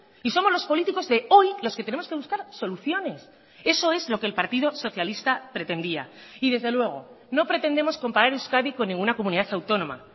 y somos los políticos de hoy los que tenemos que buscar soluciones eso es lo que el partido socialista pretendía y desde luego no pretendemos comparar euskadi con ninguna comunidad autónoma